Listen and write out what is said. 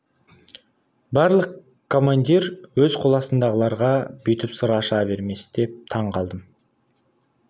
барлық командир өз қол астындағыларға бүйтіп сыр аша бермес деп таң қалдым